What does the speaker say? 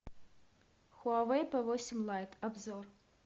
хуавей п восемь лайт обзор